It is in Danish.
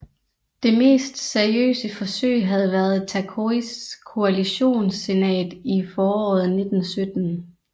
Det mest seriøse forsøg havde været Tokois koalitionssenat i foråret 1917